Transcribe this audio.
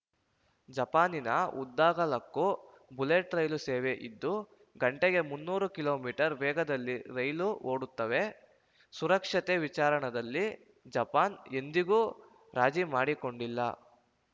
ಜಪಾನಿನ ಉದ್ದಗಲಕ್ಕೂ bullet rail ಸೇವೆ ಇದ್ದು ಗಂಟೆಗೆ ಮುನ್ನೂರು ಕಿಲೋ ಮೀಟರ್ ವೇಗದಲ್ಲಿ ರೈಲು ಓಡುತ್ತವೆ ಸುರಕ್ಷತೆ ವಿಚಾರದಲ್ಲಿ ಜಪಾನ್‌ ಎಂದಿಗೂ ರಾಜೀ ಮಾಡಿಕೊಂಡಿಲ್ಲ